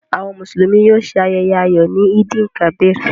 Àwọn Mùsùlùmí yóò ṣe ayẹyẹ ayọ̀ ni Eid-el-Kabir.